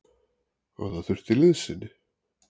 Og það þurfti liðsinni.